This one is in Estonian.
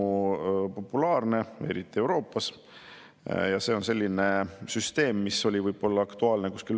Kui ma küsisin, kuidas on neid sihitud ja vajaduspõhise toetusena efektiivsem ja vähem kulukas kasutada, siis minister vastas, et aga vaatame, kuidas me seda peretoetuste saame inimestele pakkuda.